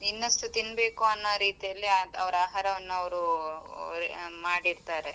ಇನ್ನಷ್ಟು ತಿನ್ಬೇಕು ಅನ್ನೋ ರೀತಿಯಲ್ಲಿ ಅವ್ರ ಆಹಾರನ್ನು ಅವರು ಆ ಮಾಡಿರ್ತರೆ.